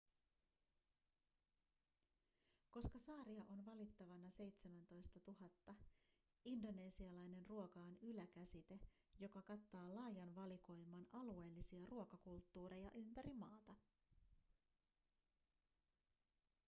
koska saaria on valittavana 17 000 indonesialainen ruoka on yläkäsite joka kattaa laajan valikoiman alueellisia ruokakulttuureja ympäri maata